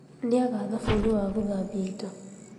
Nĩaga thabuni wa gũthambia indo